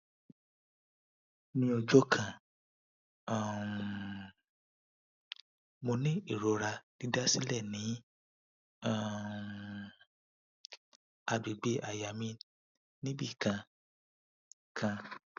ni ọjọ kan um mo ni irora didasilẹ ni um agbegbe àyà mi ni ibi kan kan